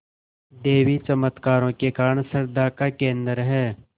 देवी चमत्कारों के कारण श्रद्धा का केन्द्र है